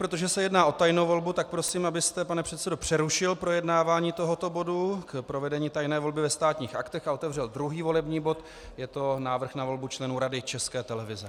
Protože se jedná o tajnou volbu, tak prosím, abyste, pane předsedo, přerušil projednávání tohoto bodu k provedení tajné volby ve Státních aktech a otevřel druhý volební bod, je to návrh na volbu členů Rady České televize.